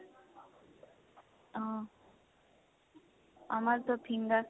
অহ, আমাৰতো